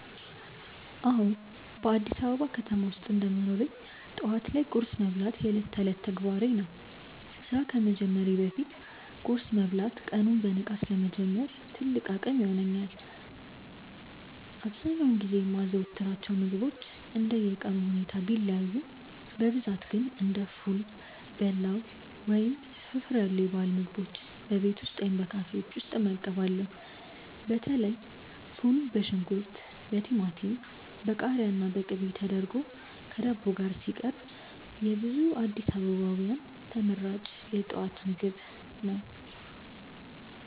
አዎ፣ በአዲስ አበባ ከተማ ውስጥ እንደ መኖሬ ጠዋት ላይ ቁርስ መብላት የዕለት ተዕለት ተግባሬ ነው። ስራ ከመጀመሬ በፊት ቁርስ መብላት ቀኑን በንቃት ለመጀመር ትልቅ አቅም ይሆነኛል። አብዛኛውን ጊዜ የማዘወትራቸው ምግቦች እንደየቀኑ ሁኔታ ቢለያዩም፣ በብዛት ግን እንደ ፉል፣ በላው ወይም ፍርፍር ያሉ የባህል ምግቦችን በቤት ውስጥ ወይም በካፌዎች እመገባለሁ። በተለይ ፉል በሽንኩርት፣ በቲማቲም፣ በቃሪያና በቅቤ ተደርጎ ከዳቦ ጋር ሲቀርብ የብዙ አዲስ አበባውያን ተመራጭ የጠዋት ምግብ ነው።